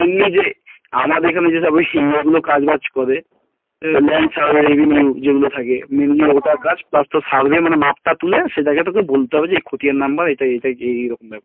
এমনি যে আমাদের এখানে যেসব ইয়ে গুলো কাজ বাজে করে land survey revenue যেগুলো থাকে mainly ওটা কাজ plus তোর survey মানে মাপ টা তুলে সেটা কে তোকে বলতে হবে যে খতিয়ান number এটা এইরকম ব্যাপার